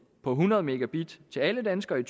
på hundrede megabit til alle danskere i